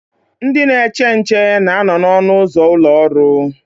Ndị na-eche nche na anọ na ọnụ ụzọ ụlọ ọrụ